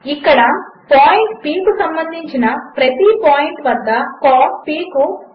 ఇక్కడపాయింట్ p కుసంబంధించినప్రతిపాయింట్వద్దcos కు cosine విలువవస్తుంది